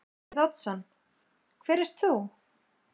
Davíð Oddsson: Hver ert þú?